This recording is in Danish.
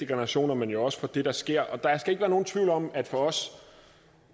generationer men jo også for det der sker der skal ikke være nogen tvivl om at for os